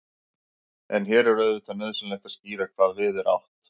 en hér er auðvitað nauðsynlegt að skýra hvað við er átt